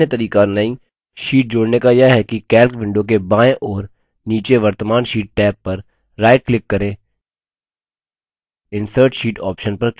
एक अन्य तरीका नई sheet जोड़ने का यह है कि calc window के बाएं ओर नीचे वर्त्तमान sheet टैब पर right क्लिक करें insert sheet option पर क्लिक करें